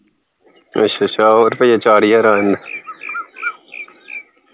ਅੱਛਾ ਅੱਛਾ ਅੱਛਾ ਹੋਰ ਫਿਰ ਚਾਰ ਹਜਾਰ ਆ